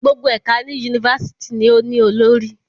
Gbogbo ẹka ni University ni o ni olori